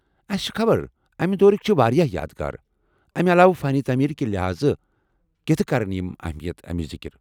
اسہ چھ خبر امہ دورٕکہِ چھ واریاہ یادگار، امہ علاوٕ ، فن تعمیر کہ لحاظہٕ کتھہٕ کرن یمن اہمیت امِچ ذکرِ؟